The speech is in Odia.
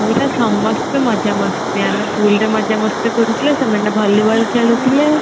ପୁରା ସମସ୍ତେ ମଜା ମସ୍ତି ଆମେ pool ରେ ମଜା ମସ୍ତି କରୁଥିଲେ ସେମାନେ volleyball ଖେଳୁଥିଲେ